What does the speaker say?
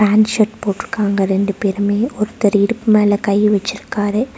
T shirt போட்ருக்காங்க ரெண்டு பேருமே ஒருத்தர் இடுப்பு மேல கை வெச்சிருக்காரு.